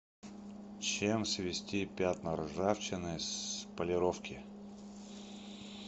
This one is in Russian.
чем свести пятна ржавчины с полировки